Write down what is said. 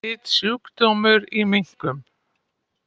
Smitsjúkdómur í minkum